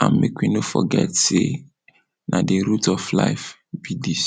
and make we no forget sey, na di root of life be dis.